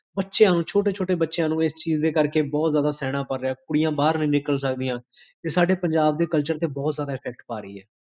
ਬਚਿਆਂ ਨੂ, ਛੋਟੇ ਛੋਟੇ ਬਚਿਆਂ ਨੂੰ ਇਸ ਚੀਜ਼ ਦੇ ਕਰਕੇ, ਬੋਹੋਤ ਜ਼ਾਦਾਸੇਹਨਾ ਪੈ ਰਿਹਾ ਹੈ ਕੁੜੀਆਂ ਬਾਹਰ ਨੀ ਨਿਕਲ ਸਕਦੀਆਂ ਇਹ ਸਾਡੇ ਪੰਜਾਬ ਦੇ culture ਤੇ ਬੋਹੋਤ ਜਾਦਾ effect ਪਾ ਰਹੀ ਹੈ